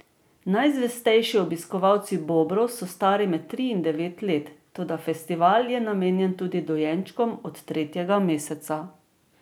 Najzvestejši obiskovalci Bobrov so stari med tri in devet let, toda festival je namenjen tudi dojenčkom od tretjega meseca.